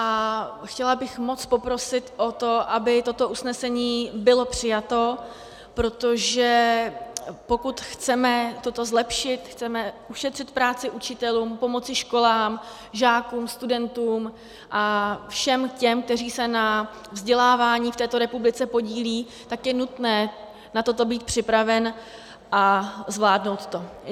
A chtěla bych moc poprosit o to, aby toto usnesení bylo přijato, protože pokud chceme toto zlepšit, chceme ušetřit práci učitelům, pomoci školám, žákům, studentům a všem těm, kteří se na vzdělávání v této republice podílejí, tak je nutné na toto být připraven a zvládnout to.